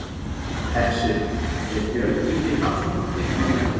Hersir: Er Björn Ingi Hrafnsson einn af þeim?